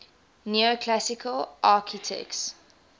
neoclassical architects